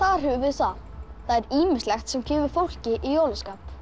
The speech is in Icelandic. höfum við það það er ýmislegt sem kemur fólki í jólaskap